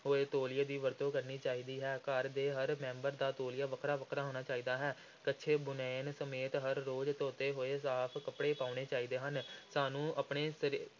ਹੋਏ ਤੌਲੀਏ ਦੀ ਵਰਤੋਂ ਕਰਨੀ ਚਾਹੀਦੀ ਹੈ, ਘਰ ਦੇ ਹਰ ਮੈਂਬਰ ਦਾ ਤੌਲੀਆ ਵੱਖਰਾ-ਵੱਖਰਾ ਹੋਣਾ ਚਾਹੀਦਾ ਹੈ, ਕੱਛੇ-ਬੁਨੈਣ ਸਮੇਤ ਹਰ ਰੋਜ਼ ਧੋਤੇ ਹੋਏ ਸਾਫ਼ ਕੱਪੜੇ ਪਾਉਣੇ ਚਾਹੀਦੇ ਹਨ ਸਾਨੂੰ ਆਪਣੇ ਸਰ